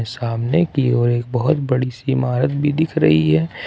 सामने की ओर एक बहोत बड़ी सी इमारत भी दिख रही है।